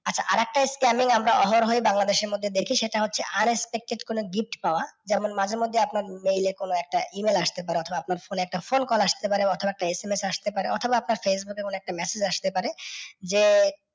আচ্ছা, আর একটা scamming আমরা অহরহ ই বাংলাদেশের মধ্যে দেখি সেটা হচ্ছে RS কোনও gift পাওয়া। যেমন মাঝে মধ্যে আপনার ইয়ে কোনও একটা E mail আসতে পারে অথবা আপনার ফোনে একটা phone call আসতে পারে বা অথবা একটা SMS আসতে পারে অথবা আপনার facebook এ কোনও একটা message আসতে পারে যে,